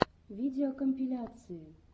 видеокомпиляции